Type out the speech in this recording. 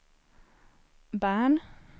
Bern